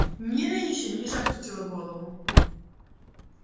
мирра ещё ниже опустила голову